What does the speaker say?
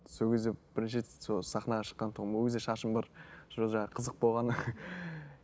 сол кезде бірінші рет сол сахнаға шыққан тұғым ол кезде шашым бар сол жаңа қызық болған